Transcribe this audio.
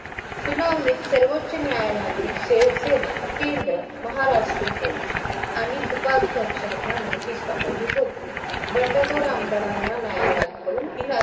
सुनावणीत सर्वोचोन्यायालयाने शिवसेना केंद्र, महाराष्ट्र पोलीस आणि उपाध्यक्षांना नोटीस पटवली होती. बंडखोर आमदारांना न्यायांलयाकडून तीला